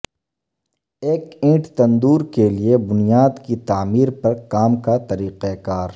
ایک ئنٹ تندور کے لئے بنیاد کی تعمیر پر کام کا طریقہ کار